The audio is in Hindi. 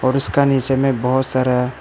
और उसका नीचे में बहुत सारा--